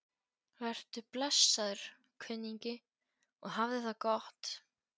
Vertu blessaður, kunningi, og hafðu það gott.